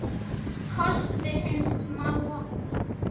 Kostir hins smáa og mjúka